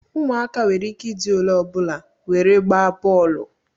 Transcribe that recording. Ụmụaka nwere ike ịdị olee ọbụla were gbaa bọọlụ